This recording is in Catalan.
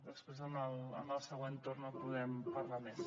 després en el següent torn en podem parlar més